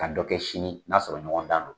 Ka dɔ kɛ sini n'a sɔrɔ ɲɔgɔn dan don.